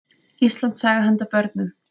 Íslandssaga handa börnum.